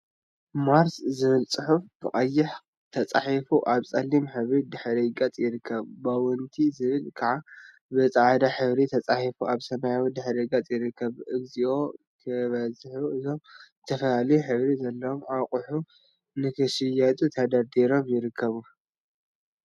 ማርስ ዝብል ፅሑፍ ብቀይሕ ተፃሒፉ አብ ፀሊም ሕብሪ ድሕረ ገፅ ይርከብ፡፡ ቦውንቲ ዝብል ከዓ ብፃዕዳ ሕብሪ ተፃሒፉ አብ ሰማያዊ ድሕረ ገፅ ይርከብ፡፡ እግዚኦ! ክበዝሑ እዞም ዝተፈላለየ ሕብሪ ዘለዎም አቁሑ ንክሽየጡ ተደርዲሮም ይርከቡ፡፡